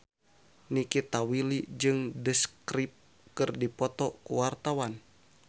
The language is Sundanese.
Nikita Willy jeung The Script keur dipoto ku wartawan